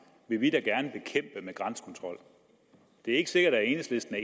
med grænsekontrol det er ikke sikkert at enhedslisten